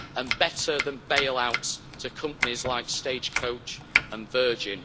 and better than bailouts to companies like Stagecoach and Virgin.